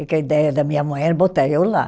E que a ideia da minha mãe era botar eu lá.